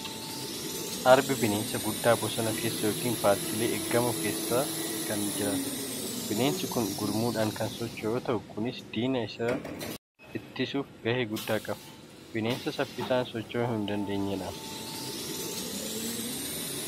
Arbi bineensa guddaa bosona keessa yookiin paarkiilee eegamoo keessa kan jiraatudha. Bineensi kun gurmuudhaan kan socho yoo ta'u, kunis diina isarraa ittisuuf gahee guddaa qaba. Bineensa saffisaan socho'uu hin dandeenyedha.